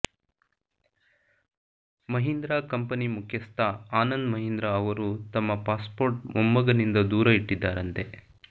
Mahindra company ಮುಖ್ಯಸ್ಥ ಆನಂದ್ ಮಹಿಂದ್ರ ಅವರು ತಮ್ಮ ಪಾಸ್ ಪೋರ್ಟ್ ಮೊಮ್ಮಗನಿಂದ ದೂರ ಇಟ್ಟಿದ್ದಾರಂತೆ